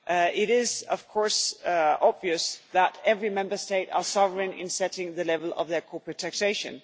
It is, of course, obvious that every Member State is sovereign in setting the level of their corporate taxation.